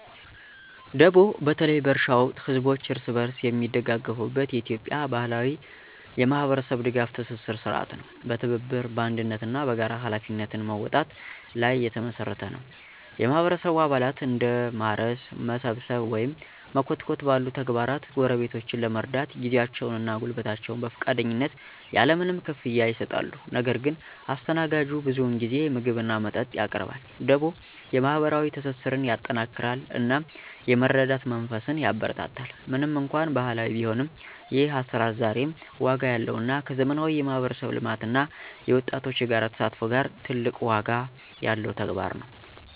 ደቦ በተለይ በእርሻ ወቅት ህዝቦች እርስ በርስ የሚደጋገፉበት የኢትዮጵያ ባህላዊ የማህበረሰብ ድጋፍ ትስስር ሥርዓት ነው። በትብብር፣ በአንድነት እና በጋራ ኃላፊነት መወጣት ላይ የተመሰረተ ነው። የማህበረሰቡ አባላት እንደ ማረስ፣ መሰብሰብ ወይም መኮትኮት ባሉ ተግባራት ጎረቤትን ለመርዳት ጊዜያቸውን እና ጉልበታቸውን በፈቃደኝነት ያለ ምንም ክፍያ ይሰጣሉ። ነገር ግን አስተናጋጁ ብዙውን ጊዜ ምግብ እና መጠጥ ያቀርባል። ደቦ የማህበራዊ ትስስርን ያጠናክራል እናም የመረዳዳት መንፈስን ያበረታታል። ምንም እንኳን ባህላዊ ቢሆንም፣ ይህ አሰራር ዛሬም ዋጋ ያለው እና ከዘመናዊ የማህበረሰብ ልማት እና የወጣቶች የጋራ ተሳትፎ ጋራ ትልቅ ዋጋ ያለው ተግባር ነው።